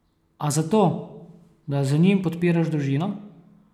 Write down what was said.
A zato, da z njim podpiraš družino?